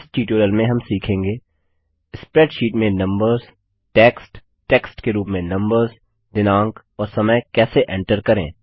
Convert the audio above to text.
इस ट्यूटोरियल में हम सीखेंगे स्प्रैडशीट में नम्बर्स टेक्स्ट टेक्स्ट के रूप में नम्बर्स दिनांक और समय कैसे एन्टर करें